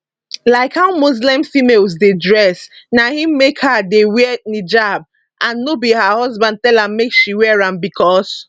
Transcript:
like how muslim females dey dress na im make her dey wear niqab and no be her husband tell am make she wear am becos